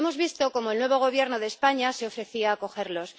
Y, hemos visto cómo el nuevo Gobierno de España se ofrecía a acogerlos.